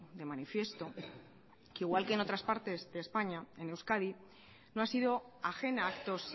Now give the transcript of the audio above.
de manifiesto que igual que en otras partes de españa en euskadi no ha sido ajena a actos